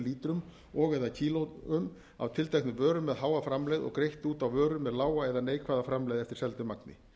lítrum og eða kílóum af tilteknum vörum með háa framlegð og greitt út á vörur með lága eða neikvæða framlegð eftir seldu magni